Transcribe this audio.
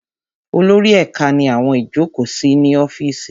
Olórí ẹ̀ka ní àwọn ìjókòó ní ọ́fìsì wọn